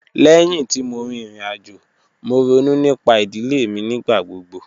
Lẹ́hin tí mo rí ìrìn-àjò, mo rònú nípà idilẹ̀ mi nígbàgbọ̀gbọ̀.